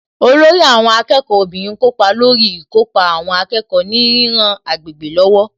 Olórí àwọn akẹ́kọ̀ọ́ obìnrin kópa lórí ìkópa àwọn akẹ́kọ̀ọ́ ní ríran agbègbè lọ́wọ́